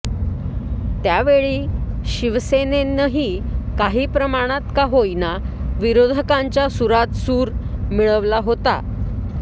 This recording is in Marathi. त्यावेळी शिवसेनेनंही काही प्रमाणात का होईना विरोधकांच्या सुरात सूर मिळवला होता